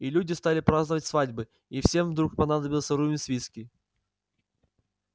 и люди стали праздновать свадьбы и всем вдруг понадобился рувим свицкий